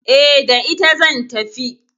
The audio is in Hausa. E, da ita zan tafi.